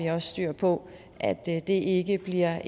har styr på at det ikke bliver